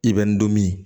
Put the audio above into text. I bɛ n donmin